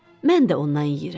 Mən də ondan yeyirəm.